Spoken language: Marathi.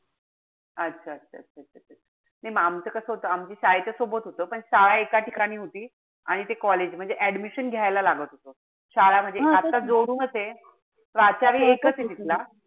अच्छा-अच्छा. नाई म आमचं कस होत. आमची शाळेच्या सोबत होत पण शाळा एका ठिकाणी होती. आणि ते college म्हणजे admission घ्यायला लागत होत. शाळा म्हणजे आत त जोडूनच ए. प्राचार्य एकच ए तिथला.